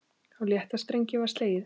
Á létta strengi var slegið.